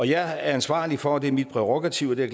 jeg er ansvarlig for det er mit prærogativ og det er